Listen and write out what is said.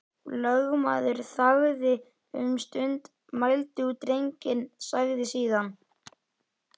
Lögmaður þagði um stund, mældi út drenginn, sagði síðan: